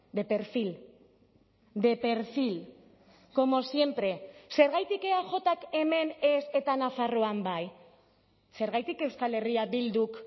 de perfil de perfil como siempre zergatik eajk hemen ez eta nafarroan bai zergatik euskal herria bilduk